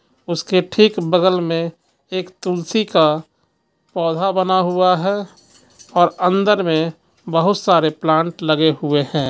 उसके ठीक बगल में एक तुलसी का पौधा बना हुआ है और अंदर में बहुत सारे प्लांट लगे हुए हैं.